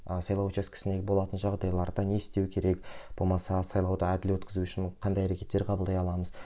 ы сайлау учаскесінде болатын жағдайларда не істеу керек болмаса сайлауды әділ өткізу үшін қандай әрекеттер қабылдай аламыз